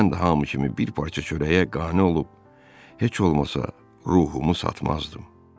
Mən də hamı kimi bir parça çörəyə qane olub, heç olmasa ruhumu satmazdım.